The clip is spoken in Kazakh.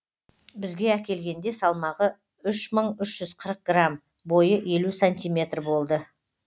бізге әкелгенде салмағы үш мың үш жүз қырық грамм бойы елу сантиметр болды